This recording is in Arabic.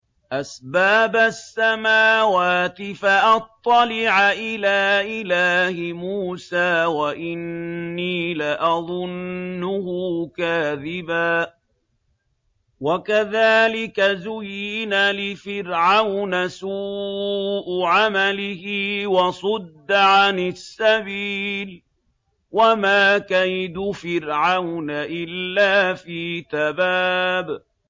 أَسْبَابَ السَّمَاوَاتِ فَأَطَّلِعَ إِلَىٰ إِلَٰهِ مُوسَىٰ وَإِنِّي لَأَظُنُّهُ كَاذِبًا ۚ وَكَذَٰلِكَ زُيِّنَ لِفِرْعَوْنَ سُوءُ عَمَلِهِ وَصُدَّ عَنِ السَّبِيلِ ۚ وَمَا كَيْدُ فِرْعَوْنَ إِلَّا فِي تَبَابٍ